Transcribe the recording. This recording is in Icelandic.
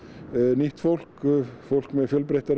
nýtt fólk fólk með fjölbreyttari